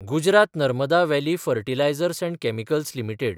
Gujarat Narmada valley fertilizers and chemicals limited